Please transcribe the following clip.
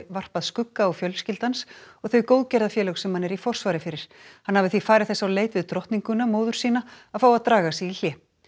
varpað skugga á fjölskyldu hans og þau góðgerðafélög sem hann er í forsvari fyrir hann hafi því farið þess á leit við drottninguna móður sína að fá að draga sig í hlé